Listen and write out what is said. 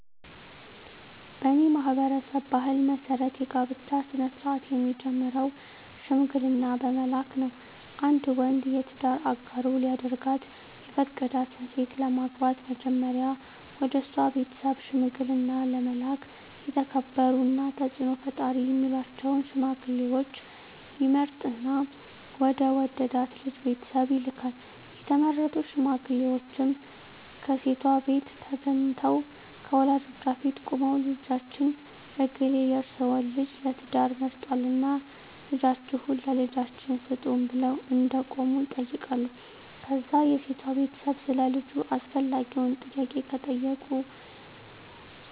በኔ ማህበረሰብ ባህል መሰረት የጋብቻ ስነ-ስርአት የሚጀምረው ሽምግልና በመላክ ነው። አንድ ወንድ የትዳር አጋሩ ሊያደርጋት የፈቀዳትን ሴት ለማግባት መጀመሪያ ወደሷ ቤተሰብ ሽምግልና ለመላክ የተከበሩና ተጽኖ ፈጣሪ ሚላቸውን ሽማግሌወች ይመርጥና ወደ ወደዳት ልጅ ቤተሰብ ይልካል፣ የተመረጡት ሽማግሌወችም ከሴቷቤት ተገንተው ከወላጆቿ ፊት ቁመው ልጃችን እገሌ የርሰወን ልጅ ለትዳር መርጧልና ልጃችሁን ለልጃችን ስጡን ብለው እንደቆሙ ይጠይቃሉ ከዛ የሴቷ ቤተሰብ ሰለ ልጁ አስፈላጊውን ጥያቄ ከጠየቁ